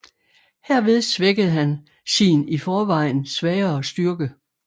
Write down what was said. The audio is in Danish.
Herved svækkede han sin i forvejen svagere styrke